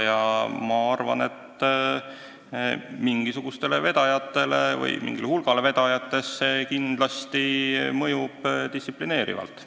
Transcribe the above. Ja ma arvan, et mingile hulgale vedajatest mõjub see kindlasti distsiplineerivalt.